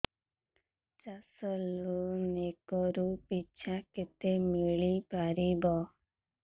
ଚାଷ loan acre ପିଛା କେତେ ମିଳି ପାରିବ